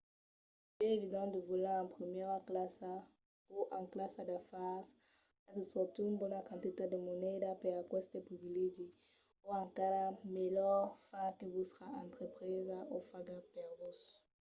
lo biais evident de volar en primièra classa o en classa d'afars es de sortir una bona quantitat de moneda per aqueste privilegi o encara melhor far que vòstra entrepresa o faga per vos